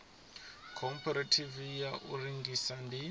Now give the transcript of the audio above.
khophorethivi ya u rengisa ndi